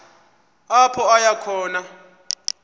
apho aya khona